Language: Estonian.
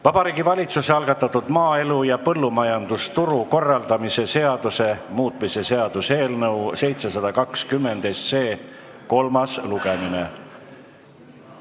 Vabariigi Valitsuse algatatud maaelu ja põllumajandusturu korraldamise seaduse muutmise seaduse eelnõu 720 kolmas lugemine.